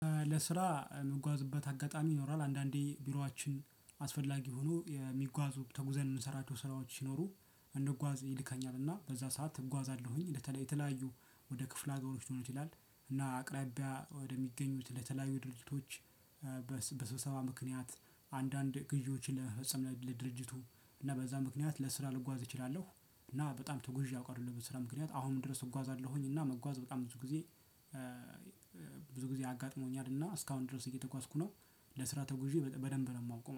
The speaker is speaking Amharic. ለስራ የምጓዝበት አጋጣሚ ይኖራል አንዳንዴ ቢሯችን አስፈላጊ የሆኑ የሚጓዙ ተጉዘን የምንሰራቸው ስራዎች ሲኖሩ እንድጓዝ ይልከኛል እና በዛ ሰዓት እጓዛለሁኝ። በተለይ የተለያዩ ወደ ክፍለ ሀገሮች ሊሆን ይችላል እና አቅራቢያ ወደሚገኙት ለተለያዩ ድርጅቶች። በስብሰባ ምክንያት አንዳንድ ግዢዎችን ለመፈጸም ለድርጅቱ እና በዛ ምክንያት ለስራ ልጓዝ እችላለሁ። እና በጣም ተጉዤ አውቃለሁ በስራ ምክንያት አሁንም ድረስ እጓዛለሁኝ። እና መጓዝ በጣም ብዙ ጊዜ። ብዙ ጊዜ አጋጥሞኛል እና እስካሁን ድረስ እየተጓዝኩ ነው። ለስራ ተጉዤ በደንብ ነው የማውቀው